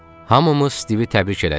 Hamımız Stivi təbrik elədik.